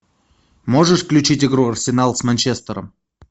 можешь включить игру арсенал с манчестером